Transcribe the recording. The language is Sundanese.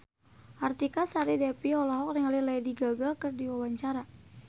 Artika Sari Devi olohok ningali Lady Gaga keur diwawancara